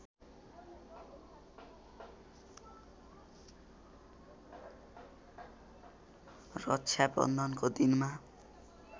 रक्षा बन्धनको दिनमा